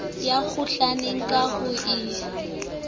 ya kgohlong ka ha e